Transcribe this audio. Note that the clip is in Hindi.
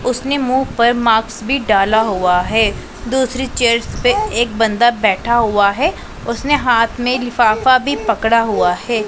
उसने मुंह पर माक्स भी डाला हुआ है दूसरी चेयर्स पे एक बंदा बैठा हुआ है उसने हाथ में लिफाफा भी पकड़ा हुआ है।